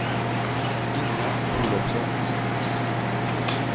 Inga Olovsson